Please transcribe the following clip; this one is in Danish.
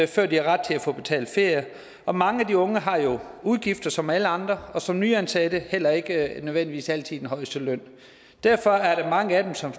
før de har ret til at få betalt ferie og mange af de unge har jo udgifter som alle andre og som nyansatte heller ikke nødvendigvis altid den højeste løn derfor er der mange af dem som